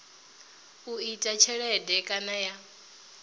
u ita tshelede kana ya